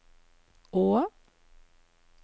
å